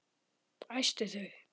Æsti þau.